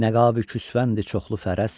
Nəqabı küsvəndir çoxlu fərəst.